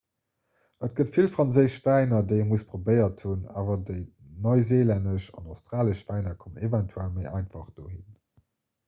et gëtt vill franséisch wäiner déi ee muss probéiert hunn awer dei neuseelännesch an australesch wäiner kommen eventuell méi einfach do hinn